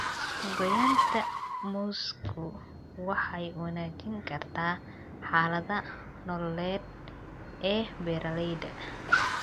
Goynta muusku waxay wanaajin kartaa xaaladda nololeed ee beeralayda.